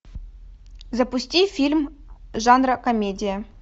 запусти фильм жанра комедия